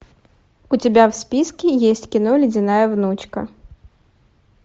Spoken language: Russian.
у тебя в списке есть кино ледяная внучка